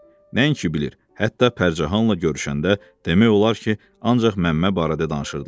Nəinki bilir, hətta Pərcahanla görüşəndə demək olar ki, ancaq Məmmə barədə danışırdılar.